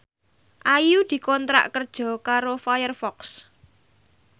Ayu dikontrak kerja karo Firefox